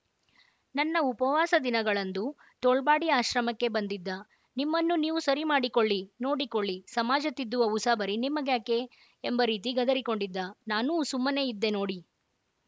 ನನ್ನ ಉಪವಾಸ ದಿನಗಳಂದು ತೋಳ್ಪಾಡಿ ಆಶ್ರಮಕ್ಕೆ ಬಂದಿದ್ದ ನಿಮ್ಮನ್ನು ನೀವು ಸರಿಮಾಡಿಕೊಳ್ಳಿನೋಡಿಕೊಳ್ಳಿ ಸಮಾಜ ತಿದ್ದುವ ಉಸಾಬರಿ ನಿಮಗ್ಯಾಕೆ ಎಂಬ ರೀತಿ ಗದರಿಕೊಂಡಿದ್ದ ನಾನೂ ಸುಮ್ಮನೆ ಇದ್ದೆ ನೋಡಿ